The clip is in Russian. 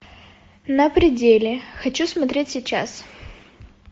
на пределе хочу смотреть сейчас